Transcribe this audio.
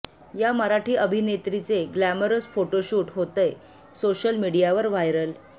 या मराठी अभिनेत्रीचे glamorous photoshoot होतंय सोशल मीडियावर व्हायरल